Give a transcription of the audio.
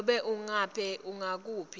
nobe ngabe ngukuphi